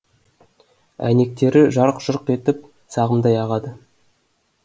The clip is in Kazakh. әйнектері жарқ жұрқ етіп сағымдай ағады